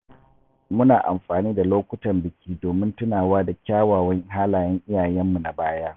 Muna amfani da lokutan biki domin tunawa da kyawawan halayen iyayenmu na baya.